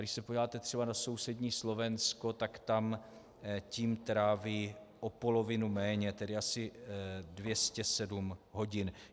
Když se podíváte třeba do sousedního Slovenska, tak tam tím tráví o polovinu méně, tedy asi 207 hodin.